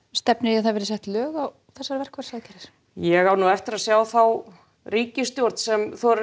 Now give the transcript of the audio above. stefnir í að það verði sett lög á þessar verkfallsaðgerðir ég á eftir að sjá þá ríkisstjórn sem þorir